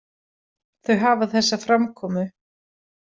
Þau hafa þessa framkomu.